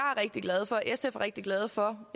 rigtig glad for sf er rigtig glad for